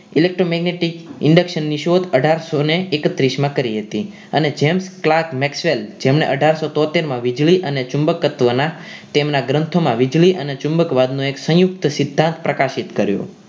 electromagnetic induction ની શોધ અઠારસો ને એકત્રીસ માં કરી હતી અને જેમ clerk Maxwell જેમણે અઠારસો તોતેર માં વીજળી અને ચુંબક તત્વના તેમના ગ્રંથોમાં વીજળી અને ચુંબકવાદ નો એક સંયુક્ત સિદ્ધાંત પ્રકાશિત કર્યો